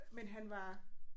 Men han var